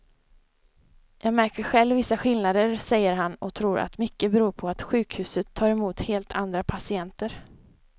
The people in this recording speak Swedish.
Jag märker själv vissa skillnader, säger han och tror att mycket beror på att sjukhuset tar emot helt andra patienter.